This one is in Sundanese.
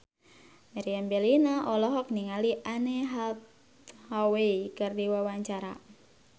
Meriam Bellina olohok ningali Anne Hathaway keur diwawancara